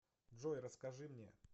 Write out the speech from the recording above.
джой расскажи мне